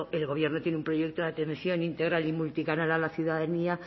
el gobierno tiene un proyecto de atención integral y multicanal a la ciudadanía